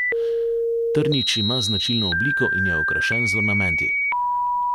Trnič ima značilno obliko in je okrašen z ornamenti.